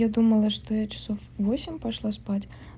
я думала что я часов в восемь пошла спать